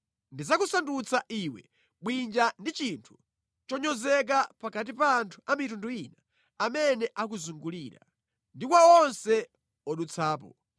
“Ndidzakusandutsa iwe bwinja ndi chinthu chonyozeka pakati pa anthu a mitundu ina amene akuzungulira, ndi kwa onse odutsapo